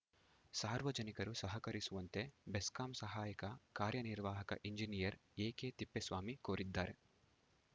ಸಾರ್ವಜನಿಕರು ಸಹಕರಿಸುವಂತೆ ಬೆಸ್ಕಾಂ ಸಹಾಯಕ ಕಾರ್ಯನಿರ್ವಾಹಕ ಇಂಜಿನಿಯರ್‌ ಎಕೆತಿಪ್ಪೇಸ್ವಾಮಿ ಕೋರಿದ್ದಾರೆ